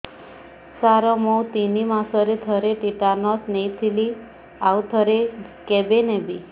ସାର ମୁଁ ତିନି ମାସରେ ଥରେ ଟିଟାନସ ନେଇଥିଲି ଆଉ ଥରେ କେବେ ନେବି